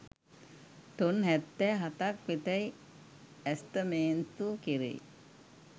ton හැත්තෑ හතක් වෙතැයි ඇස්තමේන්තු කෙරෙයි